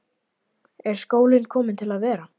Er skólinn kominn til að vera?